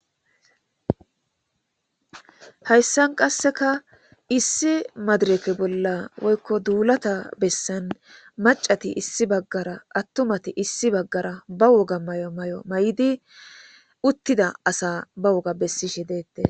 Hayssan qasseka issi madreke bolla woykko duulata bessan maccati issi bagaara attumati issi bagaara ba woga mayo mayo mayidi uttida asa ba woga bessishe de'etees.